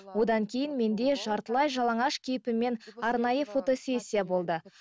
одан кейін менде жартылай жалаңаш кейпіммен арнайы фотосессия болды